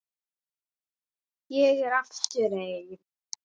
Ég er aftur ein.